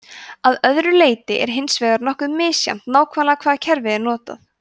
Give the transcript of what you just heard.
að öðru leyti er hins vegar nokkuð misjafnt nákvæmlega hvaða kerfi er notað